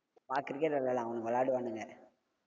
வா cricket விளையாடலா, அவங்க விளையாடுவானுங்க.